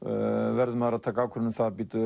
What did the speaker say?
verður maður að taka ákvörðun um það